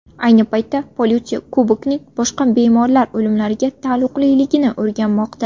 Ayni paytda politsiya Kubokining boshqa bemorlar o‘limlariga taalluqliligini o‘rganmoqda.